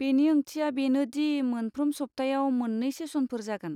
बेनि ओंथिया बेनो दि मोनफ्रोम सप्तायाव मोननै सेसनफोर जागोन।